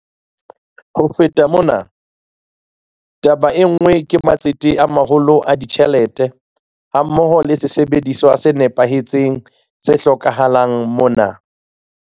Ho feta mona, taba e nngwe ke matsete a maholo a ditjhelete hammoho le sesebediswa se nepahetseng tse hlokahalang mona.